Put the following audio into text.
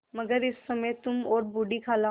मगर इस समय तुम और बूढ़ी खाला